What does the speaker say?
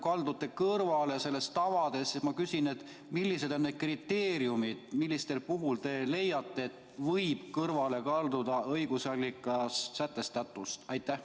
Kuna te ütlesite, et te praegu kaldute nendest tavadest kõrvale, siis ma küsin: millised on need kriteeriumid, mille puhul te leiate, et võib kõrvale kalduda õigusallikates sätestatust?